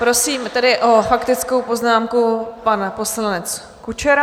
Prosím tedy o faktickou poznámku - pan poslanec Kučera.